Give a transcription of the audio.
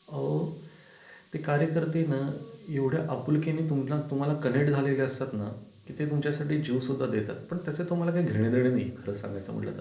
अहो ते कार्यकर्ते ना एवढ्या आपुलकीने तुम्हाला तुम्हाला कनेक्ट झालेले असतातना तर ते तुमच्या साठी जीव सुद्धा देतात पण त्याच तुम्हाला काही घेण देण नाही आहे खरं सांगायचं म्हंटल तर